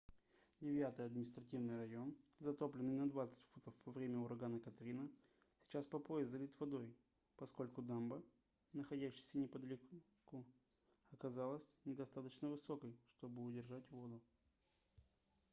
девятый административный район затопленный на 20 футов во время урагана катрина сейчас по пояс залит водой поскольку дамба находящаяся неподалеку оказалась недостаточно высокой чтобы удержать воду